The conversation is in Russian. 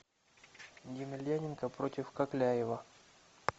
емельяненко против кокляева